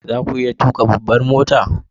Za ku iya tuka babbar mota?